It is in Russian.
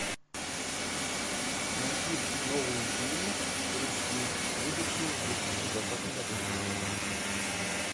найти новые фильмы русские вышедшие в две тысячи двадцатом году